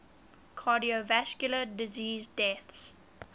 cardiovascular disease deaths